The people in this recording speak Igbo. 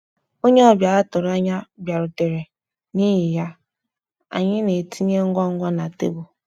Onye ọbịa atụro anya bịarutere, n'ihi ya, anyị na-etinye ngwa ngwa na tebụl